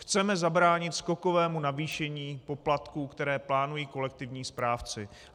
Chceme zabránit skokovému navýšení poplatků, které plánují kolektivní správci.